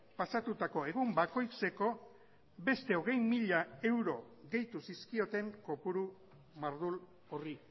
pasatutako egin bakoitzeko beste hogei mila euro gehitu zizkioten kopuru mardul horri